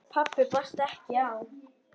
Pabbi barst ekki á.